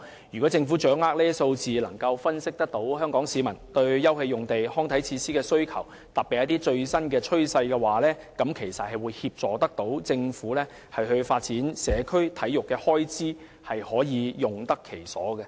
如果政府掌握有關數字，能夠分析香港市民對休憩用地及康體設施的需求，特別是最新趨勢，便可以協助政府發展社會體育，開支也可以用得其所。